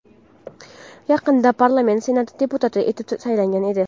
Yaqinda parlament Senati deputati etib saylangan edi.